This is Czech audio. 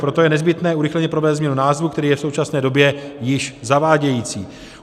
Proto je nezbytné urychleně provést změnu názvu, který je v současné době již zavádějící.